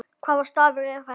Hvaða stafur er þetta?